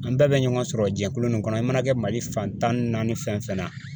An bɛɛ bɛ ɲɔgɔn sɔrɔ jɛkulu nin kɔnɔ i mana kɛ mali fan tan ni naani fɛn fɛn na.